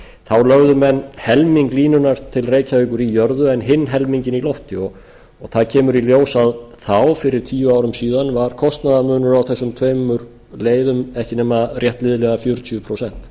þá lögðu menn helming línunnar til reykjavíkur í jörðu en hinn helminginn í lofti það kemur í ljós að fyrir tíu árum síðan var kostnaðarmunur á þessum tveimur leiðum ekki nema rétt liðlega fjörutíu prósent